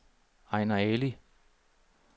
Ejner Ali